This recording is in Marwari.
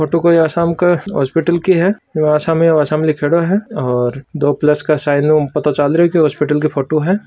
फोटो कोई आसाम के हॉस्पिटल की है सामे आसाम लिख्योड़ो है और दो प्लस के साइनू पतो चाल रहियो के हॉस्पिटल की फोटो है।